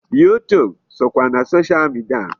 YouTube sokwa na social media.